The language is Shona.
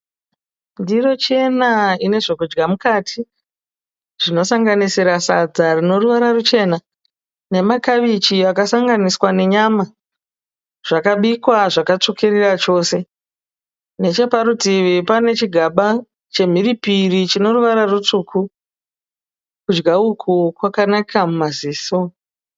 Ndiro chena ine zvekudya mukati, zvinosanganisira sadza rine ruvara ruchena, namakabichi akasanganiswa nenyama, zvakabikwa zvakatsvukirira chose necheparutivi pane chigaba chemhiripiri chine ruvara rutsvuku. Kudya uku kwakanaka muamziso.